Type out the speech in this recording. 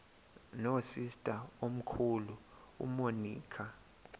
nosister omkhulu umonica